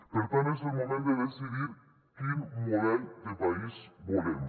per tant és el moment de decidir quin model de país volem